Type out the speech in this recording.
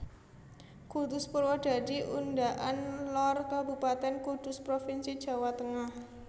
Kudus Purwodadi Undaan Lor Kabupatèn Kudus provinsi Jawa Tengah